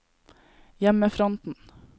hjemmefronten